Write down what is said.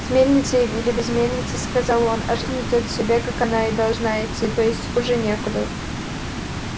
с мельницей или без мельницы сказал он а жизнь идёт себе как она и должна идти то есть хуже некуда